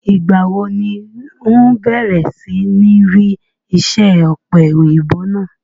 Ìgbà wo ni ǹ o bẹ̀rẹ̀ sí ní rí isẹ́ ọ̀pẹ̀-òyìnbò náà?